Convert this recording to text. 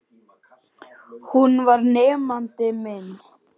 Hún var nemandi minn.